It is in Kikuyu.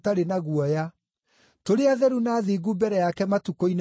tũrĩ atheru na athingu mbere yake matukũ-inĩ maitũ mothe.